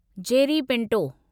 Jerry Pinto